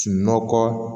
Sunɔgɔ